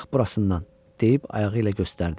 Bax burasından, deyib ayağı ilə göstərdi.